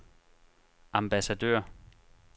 ambassadør